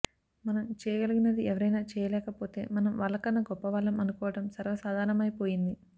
మనం చేయగలిగినది ఎవరైనా చేయలేకపోతే మనం వాళ్లకన్నా గొప్ప వాళ్ళం అనుకోవడం సర్వసాధారణమైపోయింది